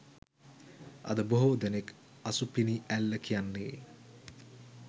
අද බොහෝ දෙනක් අසුපිනි ඇල්ල කියන්නේ